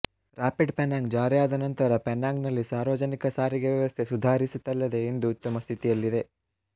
rapid Penang ಜಾರಿಯಾದ ನಂತರ Penang ನಲ್ಲಿ ಸಾರ್ವಜನಿಕ ಸಾರಿಗೆ ವ್ಯವಸ್ಥೆ ಸುಧಾರಿಸಿತಲ್ಲದೇ ಇಂದು ಉತ್ತಮ ಸ್ಥಿತಿಯಲ್ಲಿದೆ